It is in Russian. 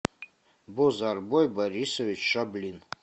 бозарбой борисович шаблин